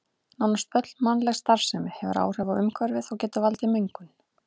Nánast öll mannleg starfsemi hefur áhrif á umhverfið og getur valdið mengun.